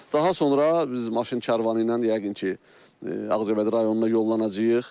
Daha sonra biz maşın karvanı ilə yəqin ki, Ağcabədi rayonuna yollanacağıq.